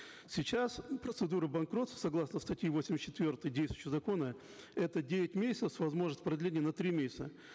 сейчас процедура банкротства согласно статьи восемьдесят четвертой действующего закона это девять месяцев с возможностью продления на три месяца